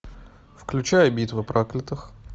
включай битва проклятых